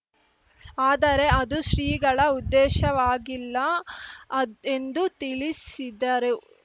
ಆದರೆ ಅದು ಶ್ರೀಗಳ ಉದ್ದೇಶವಾಗಿಲ್ಲ ಅದ್ ಎಂದು ತಿಳಿಸಿದರು